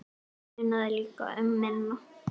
Það munaði líka um minna.